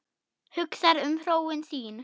Hugsar um hróin sín.